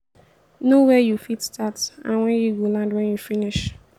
know where you fit start and where you go land when you finish